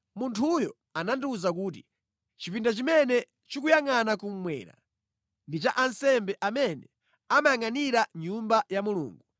Munthuyo anandiwuza kuti, “Chipinda chimene chikuyangʼana kummwera ndi cha ansembe amene amayangʼanira Nyumba ya Mulungu,